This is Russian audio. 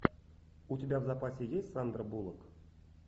у тебя в запасе есть сандра буллок